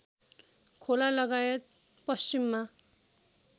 खोला लगायत पश्चिममा